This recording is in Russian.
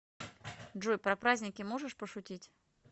джой про праздники можешь пошутить